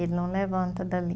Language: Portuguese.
Ele não levanta dali.